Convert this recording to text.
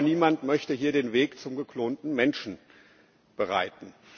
Ich glaube, niemand möchte hier den Weg zum geklonten Menschen bereiten.